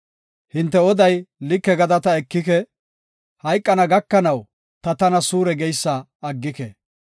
Hinte oday like gada ta ekike; hayqana gakanaw ta tana suure geysa aggike.